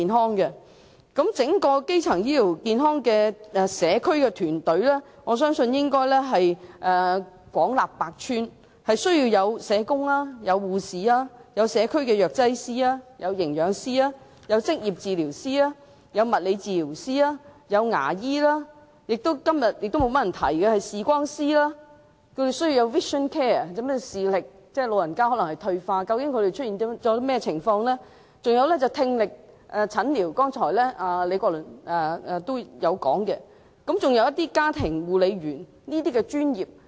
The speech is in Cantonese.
我相信整個基層醫療健康的社區團隊應廣納百川，要包含社工、護士、社區藥劑師、營養師、職業治療師、物理治療師、牙醫、視光師——今天較少議員提及，因為長者可能視力退化，需要 vision care， 以了解問題所在——李國麟議員剛才提及的聽力診療師，以及家庭護理員等專業人員。